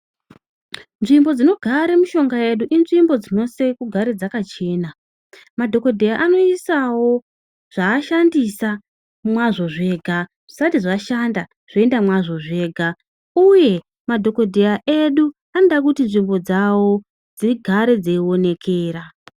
Nzvimbo dzinogare mishonga yedu inzvimbo dzinosise kugara dzakachena. Madhokodheya anoisawo zvavashandisa mwazvo zvega. Zvisati zvashanda zvoenda mwazvo zvega uye madhokodheya edu anoda kuti nzvimbo dzawo dzigare dzeiwonekera.